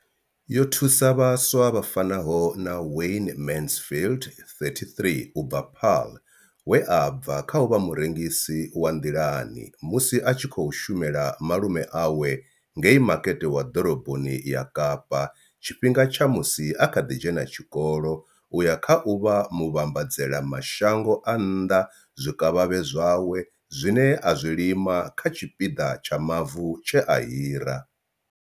Yo thusa vhaswa vha fanaho na Wayne Mansfield 33 u bva Paarl, we a bva kha u vha murengisi wa nḓilani musi a tshi khou shumela malume awe ngei makete wa ḓoroboni ya Kapa tshifhingani tsha musi a kha ḓi dzhena tshikolo u ya kha u vha muvhambadzela mashango a nnḓa zwikavhavhe zwawe zwine a zwi lima kha tshipiḓa tsha mavu tshe a hira.